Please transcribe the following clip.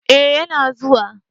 Eh ya na zuwa